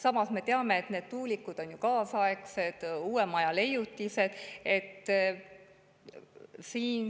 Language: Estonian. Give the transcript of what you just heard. Samas me teame, et need tuulikud on ju kaasaegsed, uuema aja leiutised.